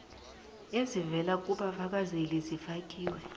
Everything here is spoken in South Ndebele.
ezivela kubafakazeli zifakiwe